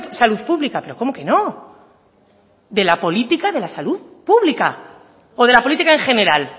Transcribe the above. salud pública pero cómo que no de la política de la salud pública o de la política en general